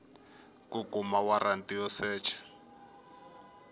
ku kuma waranti yo secha